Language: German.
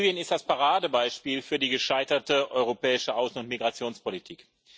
Libyen ist das Paradebeispiel für die gescheiterte europäische Außen und Migrationspolitik.